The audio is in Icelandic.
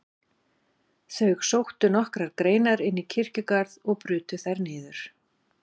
Þau sóttu nokkrar greinar inn í kirkjugarð og brutu þær niður.